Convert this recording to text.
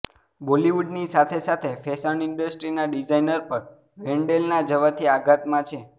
બોલિવૂડની સાથે સાથે ફેશન ઇન્ડસ્ટ્રીના ડિઝાઈનર પણ વેન્ડેલના જવાથી આઘાતમાં છે